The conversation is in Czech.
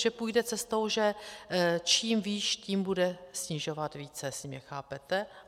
Že půjde cestou, že čím výš, tím bude snižovat více, jestli mě chápete.